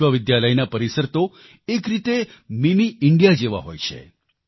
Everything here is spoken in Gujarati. વિશ્વવિદ્યાલયના પરિસર તો એક રીતે મિની ઇન્ડિયા જેવા હોય છે